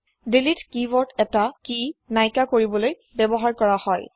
দিলিত কি ৱৰ্দ এটা কি নাইকিয়া কৰিবলৈ ব্যৱহাৰ কৰা হয়